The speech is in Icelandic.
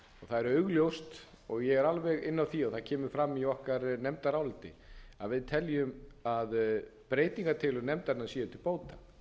það er augljóst og ég er alveg inni á því og það kemur fram í okkar nefndaráliti að við teljum að breytingartillögur nefndarinnar séu til bóta